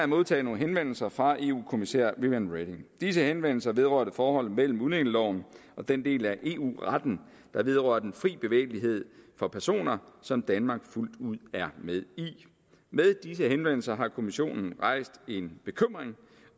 modtaget nogle henvendelser fra eu kommissær viviane reding disse henvendelser vedrørte forholdet mellem udlændingeloven og den del af eu retten der vedrører den frie bevægelighed for personer og som danmark fuldt ud er med i med disse henvendelser har kommissionen rejst en bekymring